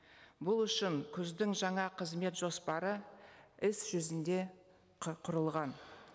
бұл үшін күздің жаңа қызмет жоспары іс жүзінде құрылған